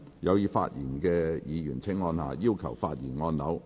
有意發言的議員請按下"要求發言"按鈕。